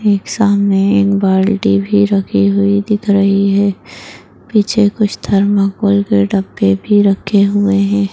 एक सामने एक बाल्टी भी रखी हुई दिख रही है पीछे थर्माकोल के डब्बे भी रखे हुए हैं।